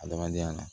Adamadenya na